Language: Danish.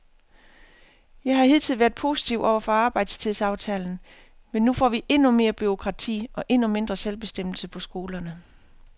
Jeg har hidtil været positiv over for arbejdstidsaftalen, men nu får vi endnu mere bureaukrati og endnu mindre selvbestemmelse på skolerne.